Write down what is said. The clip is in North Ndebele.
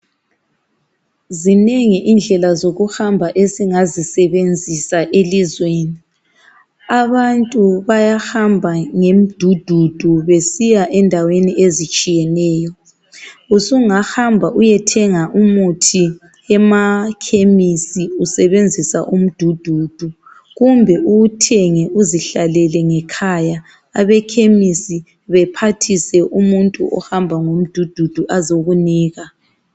Zinengi indlela zokuhamba esingazisebenzisa elizweni, abantu bayahamba ngemdududu besiya endaweni ezitshiyeneyo. Usungahamba uyethenga umuthi emakhemisi usebenzisa umdududu kumbe uwuthenge uzihlalele ngekhaya. Abekhemisi bephathise umuntu ohamba ngo mdududu azokunika.